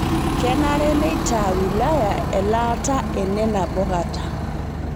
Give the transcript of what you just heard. Kenare neita wilaya elaata ene nabo kata